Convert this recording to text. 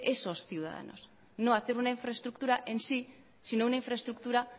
esos ciudadanos no hacer una infraestructura en sí sino una infraestructura